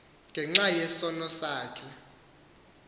ngenxa yesono sakhe